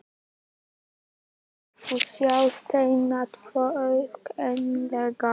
Þar munt þú sjá steina tvo, auðkennilega.